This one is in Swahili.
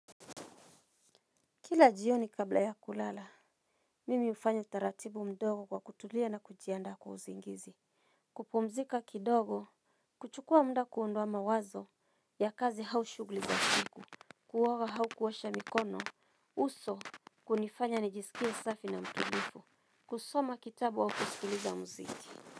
Kila jioni kabla ya kulala, mimi hufanya taratibu mdogo kwa kutulia na kujiandaa kwa usingizi. Kupumzika kidogo, kuchukua mda kuondoa mawazo ya kazi au shugli za siku, kuoga hau kuosha mikono, uso hunifanya nijisikie safi na mtulifu, kusoma kitabu au kusikiliza mziki.